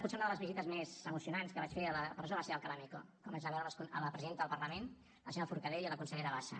potser una de les visites més emocionants que vaig fer a la presó va ser a alcalá meco quan vaig anar a veure la presidenta del parlament la senyora forcadell i la consellera bassa